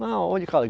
Não, onde